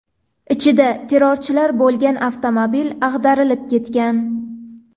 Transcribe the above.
Ichida terrorchilar bo‘lgan avtomobil ag‘darilib ketgan.